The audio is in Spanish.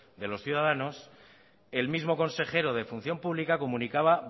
de los ciudadanos el mismo consejero de función pública comunicaba